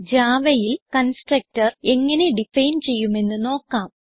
Javaയിൽ constructor എങ്ങനെ define ചെയ്യുമെന്നു നോക്കാം